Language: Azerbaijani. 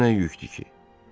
Bu nə yükdür ki?